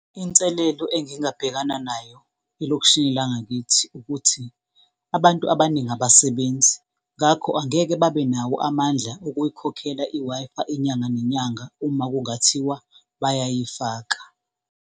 Inselelo engingabhekana nayo elokishini langakithi, ukuthi abantu abaningi abasebenzi ngakho angeke babenawo amandla okuyikhokhela i-Wi-Fi inyanga nenyanga uma kungathiwa bayayifaka.